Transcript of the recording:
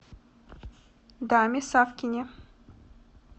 даме савкине